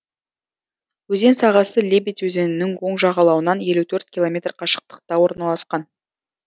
өзен сағасы лебедь өзенінің оң жағалауынан елу төрт километр қашықтықта орналасқан